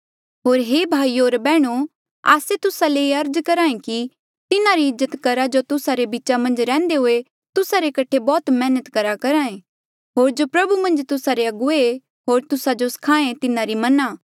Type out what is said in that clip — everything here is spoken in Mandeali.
होर हे भाईयो होर बैहणो आस्से तुस्सा ले अर्ज करहा ऐें कि तिन्हारी इज्जत करहा जो तुस्सा रे बीचा मन्झ रैहन्दे हुए तुस्सा रे कठे बौह्त मैहनत करहा ऐें होर जो प्रभु मन्झ तुस्सा रे अगुवे ऐें होर तुस्सा जो स्खाहें तिन्हारी मना